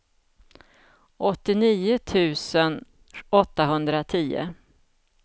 åttionio tusen åttahundratio